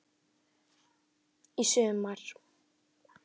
Í sumar.